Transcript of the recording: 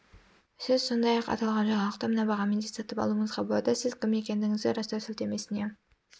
сіз сондай-ақ аталған жаңалықты мына бағамен де сатып алуыңызға болады сіз кім екендігіңізді растау сілтемесіне